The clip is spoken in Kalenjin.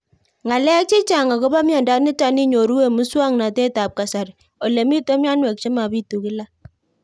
Ng'alek chechang' akopo miondo nitok inyoru eng' muswog'natet ab kasari ole mito mianwek che mapitu kila